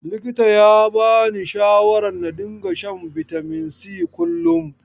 Likitan ya bani shawarar na dinga shan bitamin si kullum.